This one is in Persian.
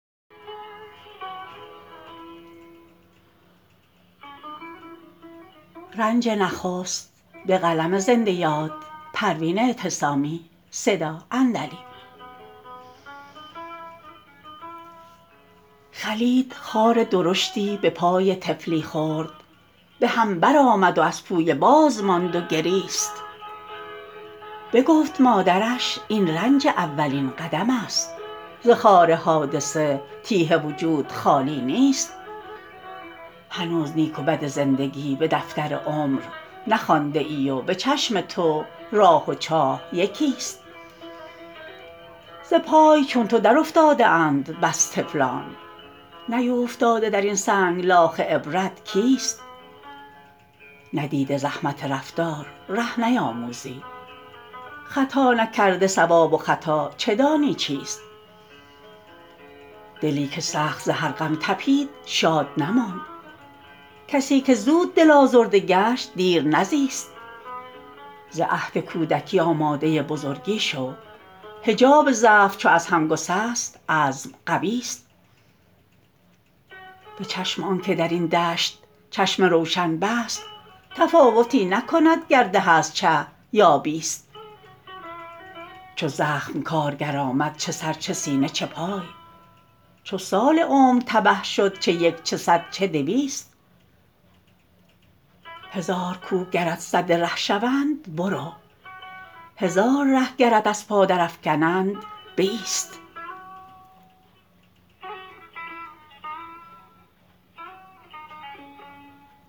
خلید خار درشتی بپای طفلی خرد بهم برآمد و از پویه باز ماند و گریست بگفت مادرش این رنج اولین قدم است ز خار حادثه تیه وجود خالی نیست هنوز نیک و بد زندگی بدفتر عمر نخوانده ای و بچشم تو راه و چاه یکیست ز پای چون تو در افتاده اند بس طفلان نیوفتاده درین سنگلاخ عبرت کیست ندیده زحمت رفتار ره نیاموزی خطا نکرده صواب و خطا چه دانی چیست دلی که سخت ز هر غم تپید شاد نماند کسیکه زود دل آزرده گشت دیر نزیست ز عهد کودکی آماده بزرگی شو حجاب ضعف چو از هم گسست عزم قویست بچشم آنکه درین دشت چشم روشن بست تفاوتی نکند گر ده است چه یا بیست چو زخم کارگر آمد چه سر چه سینه چه پای چو سال عمر تبه شد چه یک چه صد چه دویست هزار کوه گرت سد ره شوند برو هزار ره گرت از پا در افکنند بایست